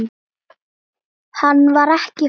Hann var ekki falur.